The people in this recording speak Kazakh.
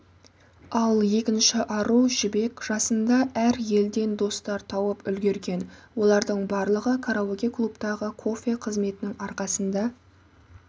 ал екінші ару жібек жасында әр елден достар тауып үлгерген олардың барлығы караоке-клубтағы кофе қызметінің арқсында